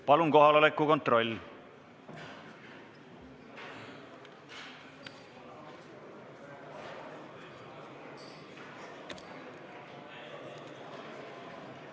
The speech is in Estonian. Palun kohaloleku kontroll!